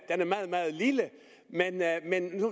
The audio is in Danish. er meget meget lille men